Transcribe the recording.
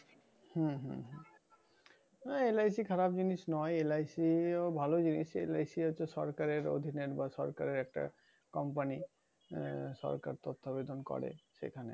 হম LIC খারাপ জিনিস নয় LIC ও ভালো জিনিস। LIC হচ্ছে সরকারের অধীনে। বা সরকারের একটা company